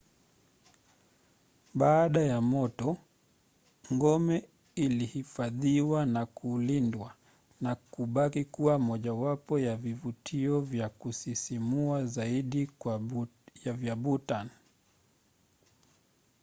baada ya moto ngome ilihifadhiwa na kulindwa na kubaki kuwa mojawapo ya vivutio vya kusisimua zaidi vya bhutan